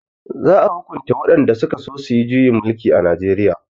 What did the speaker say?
za a hukunta waɗanda sukaso suyi juyin mulki a najeriya